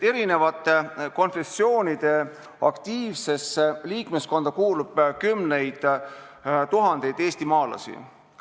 Eri konfessioonide aktiivsesse liikmeskonda kuulub kümneid tuhandeid eestimaalasi.